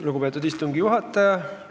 Lugupeetud istungi juhataja!